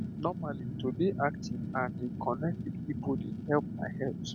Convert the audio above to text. normally to dey active and dey connect with people dey help my health